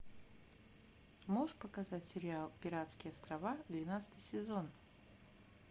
можешь показать сериал пиратские острова двенадцатый сезон